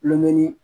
Lomini